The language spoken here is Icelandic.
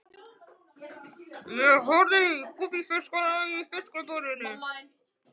Ég horfi á gúbbífiskana í fiskabúrinu.